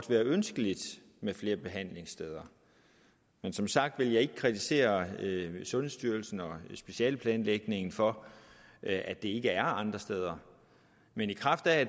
være ønskeligt med flere behandlingssteder men som sagt vil jeg ikke kritisere sundhedsstyrelsen og specialeplanlægningen for at det ikke er andre steder men